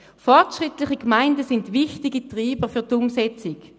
Fortschrittliche Gemeinden sind wichtige Treiber für die Umsetzung.